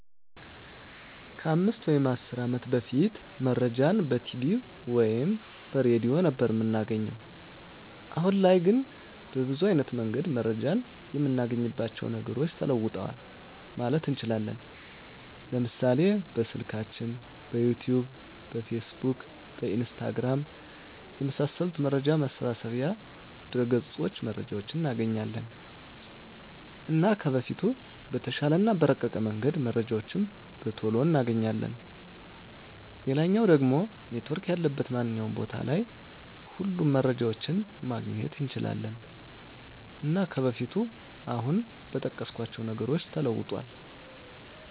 ከ 5 ወይም 10 አመት በፊት መረጃን በቲቪ ወይም በሬድዮ ነበር እምናገኘዉ። አሁን ላይ ግን በብዙ አይነት መንገድ መረጃን እምናገኝባቸዉ ነገሮች ተለዉጠዋል ማለት እንችላለን፤ ለምሳሌ፦ በስልካችን፣ በዩቱዩብ፣ በፌስቡክ፣ በኢንስታግራም፣ የመሳሰሉት መረጃ መሰብሰቢያ ድረገፆች መረጃዎችን እናገኛለን። እና ከበፊቱ በተሻለ እና በረቀቀ መንገድ መረጃዎችን በቶሎ እናገኛለን፣ ሌላኛዉ ደሞ ኔትዎርክ ያለበት ማንኛዉም ቦታ ላይ ሁሉንም መረጃዎችን ማግኘት እንችላለን። እና ከበፊቱ አሁን በጠቀስኳቸዉ ነገሮች ተለዉጧል።